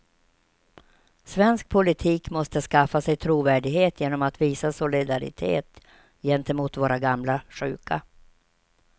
Svensk politik måste skaffa sig trovärdighet genom att visa solidaritet gentemot våra gamla sjuka.